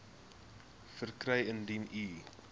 verkry indien u